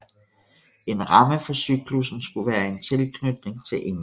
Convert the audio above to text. En ramme for cyklussen skulle være en tilknytning til England